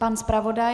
Pan zpravodaj?